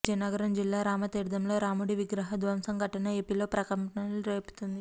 విజయనగరం జిల్లా రామతీర్థంలో రాముడి విగ్రహ ధ్వంసం ఘటన ఏపీలో ప్రకంపనలు రేపుతోంది